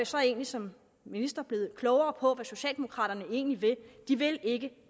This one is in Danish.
så egentlig som minister blevet klogere på hvad socialdemokraterne egentlig vil de vil ikke